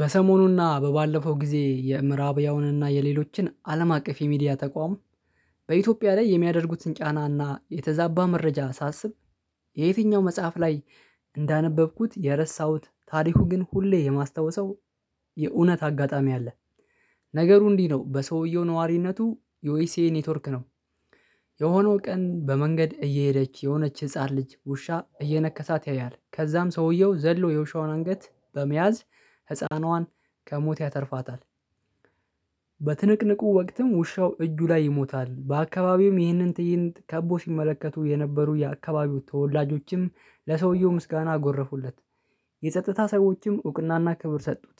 በሰሞኑና በባለፈው ጊዜ የምዕራብ ያውንና የሌሎችን አለም አቀፍ የሚዲያ ተቋም በኢትዮጵያ ላይ የሚያደርጉትን ጫናና የተዛባ መረጃ ሳስብ የየትኛው መጽሐፍ ላይ እንዳነበብኩት የረሳሁት ታሪኩ ግን ሁሌ የማስታወሰው የእውነት አጋጣሚ አለ። ነገሩ እንዲህ ነው በሰውየው ነዋሪነቱ የኦኤስኤ ኔትወርክ ነው። የሆነው ቀን በመንገድ እየሄደች የሆነች ህፃን ልጅ ውሻ እየነከሳት ያያል ከዛም ሰውየው ዘሎ የውሻውን አንገት በመያዝ ህፃኗን ከሞት ያተርፋታል። በትንቅንቁ ወቅትም ውሻው እጁ ላይ ይሞታል በአካባቢውም ይህንን ትይንት ከቦ ሲመለከቱ የነበሩ የአካባቢው ተወላጆችም ለሰውየው ምስጋና አጎረፉለት። የጸጥታ ሰዎችም እውቅናና ክብር ሰጡት።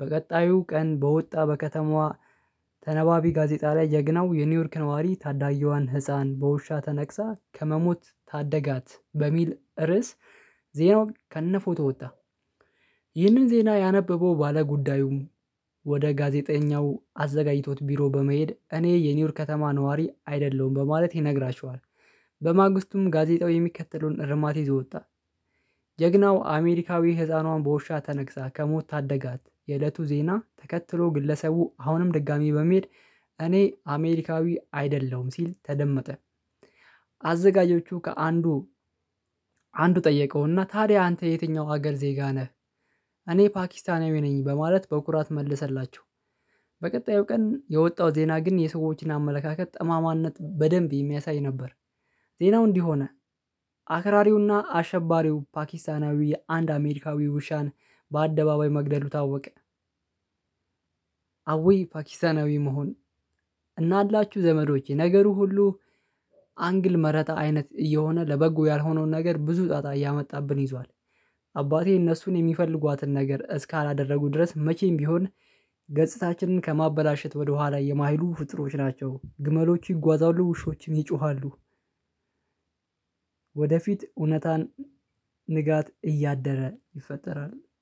በቀጣዩ ቀን በወጣ በከተማዋ ተነባቢ ጋዜጣ ላይ የገናው የኒውዮርክ ነዋሪ ታዳየዋን ህፃን በውሻ ተነክሳ ከመሞት ታደጋት በሚል ርዕስ። ዜናውን ከነፎቶ ወጣ። ይህንን ዜና ያነበበው ባለጉዳዩም ወደ ጋዜጠኛው አዘጋጅቶት ቢሮ በመሄድ እኔ የኒውዮርክ ከተማ ነዋሪ አይደለሁም በማለት ይነግራችኋል። በማግስቱም ጋዜጣው የሚከተለውን ርማት ይዞ ወጣ። ጀግናው አሜሪካዊ ህፃኗን በውሻ ተነክሳ ከሞት ታደጋት የእለቱ ዜና ተከትሎ ግለሰቡ አሁንም ድጋሚ በመሄድ እኔ አሜሪካዊ አይደለሁም ሲል ተደመጠ። አዘጋጀዎቹ ከአንዱ አንዱ ጠየቀውና ታዲያ አንተ የትኛው ሀገር ዜጋ ነህ? እኔ ፓኪስታንያዊ ነኝ በማለት በኩራት መለሰላቸው። በቀጣዩ ቀን የወጣው ዜና ግን የሰዎችን አመለካከት ጠማማነት በደንብ የሚያሳይ ነበር። ዜናው እንዲህ ሆነ። አክራሪውና አሸባሪው ፓኪስታናዊ የአንድ አሜሪካዊ ውሻን በአደባባይ መግደሉ ታወቀ። አወይ ፓኪስታናዊ መሆን። እናላችሁ ዘመዶቼ ነገሩ ሁሉ አንግል መረጣ አይነት እየሆነ ለበጎ ያልሆነውን ነገር ብዙ ጣጣ እያመጣብን ይዟል። አባቴ እነሱን የሚፈልጓትን ነገር እስካላደረጉ ድረስ መቼም ቢሆን ገጽታችንን ከማበላሸት ወደኋላ የማይሉ ፍጡሮች ናቸው ግመሎቹ ይጓዛሉ ውሾችም ይጮሃሉ። ወደፊት እውነታን ንጋት እያደረ ይፈጠራል።